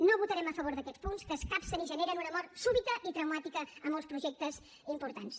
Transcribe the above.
no votarem a favor d’aquests punts que escapcen i generen una mort súbita i traumàtica a molts projectes importants